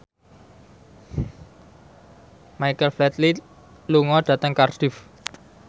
Michael Flatley lunga dhateng Cardiff